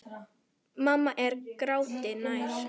Mamma er gráti nær.